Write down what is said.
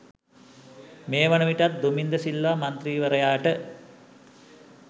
මේවන විටත් දුමින්ද සිල්වා මන්ත්‍රීවරයාට